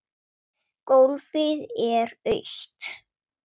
Gólfið er autt.